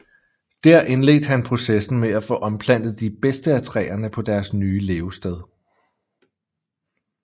Dér indledte han processen med at få omplantet de bedste af træerne på deres nye levested